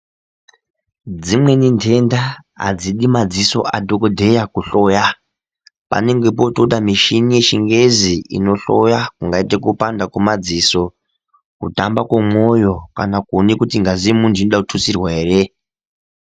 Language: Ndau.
Dzimweni ntenda hadzidi madziso adhokodheya kuhloya, panenge potoda mishini yechingezi inohloya zvingaite kupanda kwemadziso, kupanda kwemoyo kana kuone kuti ngazi yomuntu inoda kututsirwa here.